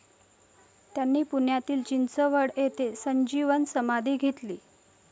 त्यांनी पुण्यातील चिंचवड येथे संजीवन समाधी घेतली.